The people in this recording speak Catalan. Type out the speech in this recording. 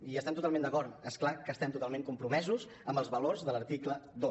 hi estem totalment d’acord és clar que estem totalment compromesos amb els valors de l’article dos